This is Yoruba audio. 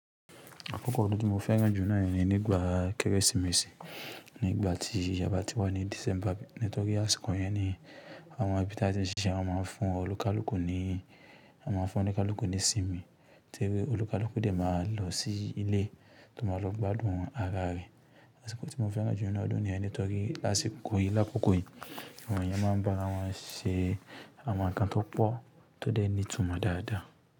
Àkókò ódun tí mo fẹ́ràn jù náà ni nígbà Kérésìmesì. Ní ìgbà tí aba ti wà ní December nítorí àsìkò yẹn ni àwọn ibítà tí n ṣiṣẹ́ wọn máa n fún ọlukalùkù ni, wọn maa fún ọlukalùkù ní sinmi, ti olukalùkù dẹ̀ máa lọ sí ilé tọ n máa lọ gbádùn ara rẹ̀. Àsìkò tí mo fẹ́ràn jù nínu ọdún niyẹn nítorí asiko yìí lákòókò yìí, àwọn eyan máa ń ba ara wọn ṣee àwọn ǹkan tó pọ̀ tó dẹ̀ ní ìtumọ̀ dáadáa.